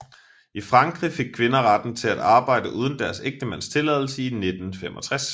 I Frankrig fik kvinder retten til at arbejde uden deres ægtemands tilladelse i 1965